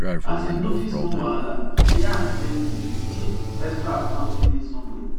as e notice small wahala e ask gently if extra account day somewhere